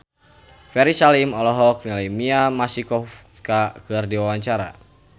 Ferry Salim olohok ningali Mia Masikowska keur diwawancara